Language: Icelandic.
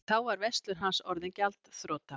Þá var verslun hans orðin gjaldþrota.